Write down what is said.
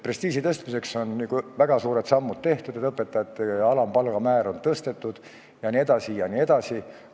Prestiiži tõstmiseks on justkui väga suured sammud tehtud – õpetajate alampalga määra on tõstetud jne.